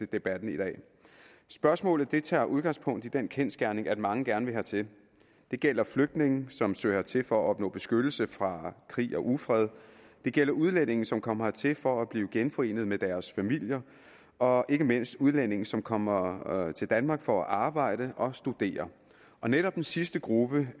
debatten i dag spørgsmålet tager udgangspunkt i den kendsgerning at mange gerne vil hertil det gælder flygtninge som søger hertil for at opnå beskyttelse fra krig og ufred det gælder udlændinge som kommer hertil for at blive genforenet med deres familier og ikke mindst udlændinge som kommer til danmark for at arbejde og studere netop den sidste gruppe